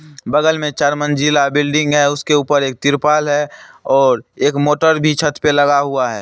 बगल में चार मंजिला बिल्डिंग है उसके उप्पर एक त्रिपाल है और एक मोटर भी छत पे लगा हुआ है।